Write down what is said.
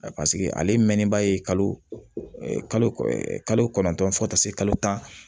Paseke ale mɛnni ba ye kalo kɔnɔntɔn fo ka taa se kalo tan